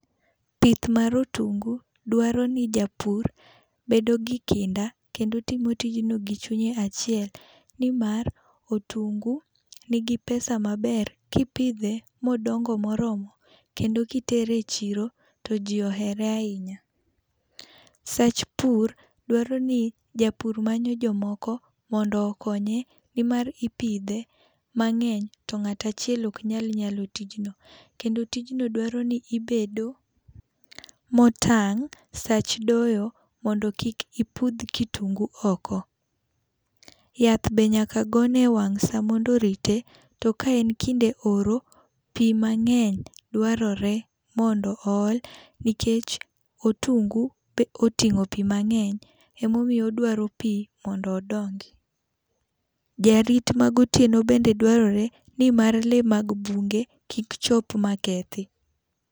Pith mar otungu dwaro ni japur bedo gi kinda kendo timo tijno gi chunye achiel ni mar otungu ni gi pesa maber kipidhe ma odongo mo oromo kendo ki itero e chiro to ji ohere ahinya. Sach pur dwaro ni japur manyo jomoko mondo okonye ni mar ipidhe mang'eny to ng'at achiel ok nyal nyalo tijno, kendo tijno dwaro ni ibedo mo otang sach doyo mondo kik ipudh kitungu oko. Yath be nyaka ogone e wang’ saa mondo orite to ka en kinde oro to pi mang'eny dwarore mondo ool nikech otungu oting'o pi mang'eny em a omiyo odwaro pi mondo odongi. Jarit ma gotieno bende dwarore ni mar lee ma bunge kik chop ma kethi.